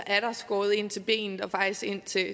er skåret ind til benet og faktisk ind til